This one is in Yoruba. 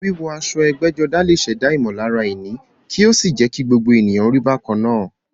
Wíwọ aṣọ ẹgbẹ́jọdá lè ṣẹ̀dá ìmọ̀lára ìní kí ó sì jẹ́ kí gbogbo ènìyàn rí bákan náà.